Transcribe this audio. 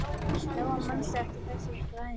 Lóa: Manstu eftir þessari fæðingu?